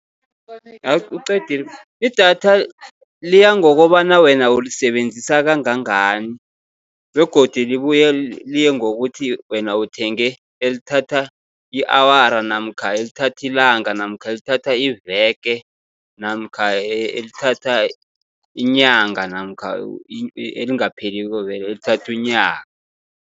uqedile, idatha liya ngokobana wena ulisebenzisa kangangani begodu libuye liye ngokuthi wena uthenge elithatha i-awara, namkha elithatha ilanga, namkha elithatha iveke, namkha elithatha inyanga, namkha elingapheliko vele elithatha unyaka.